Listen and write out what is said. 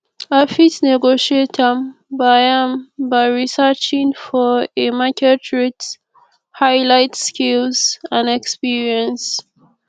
i fit negotiate am by am by researching for a market rate highlight skills and experience